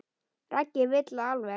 Raggi vill það alveg.